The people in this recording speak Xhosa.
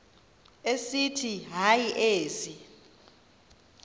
esithi hayi ezi